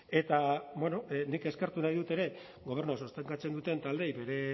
eta nik eskertu nahi dut ere gobernua sostengatzen duten taldeei bere